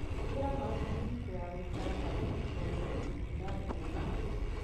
Hũthira maski hingo ya gũikara kana kũrũta wĩra kũndũ kwĩna andũ mena TB.